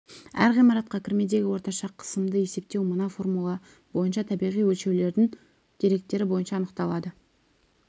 әр ғимаратқа кірмедегі орташа қысымды есептеу мына формула бойынша табиғи өлшеулердің деректері бойынша анықталған